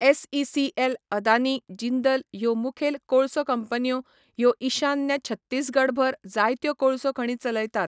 SECL, Adani, Jindal ह्यो मुखेल कोळसो कंपन्यो ह्यो ईशान्य छत्तीसगडभर जायत्यो कोळसो खणी चलयतात.